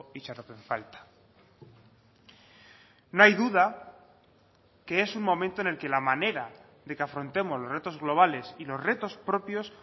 itxaropen falta no hay duda que es un momento en el que la manera de que afrontemos los retos globales y los retos propios